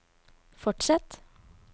fortsett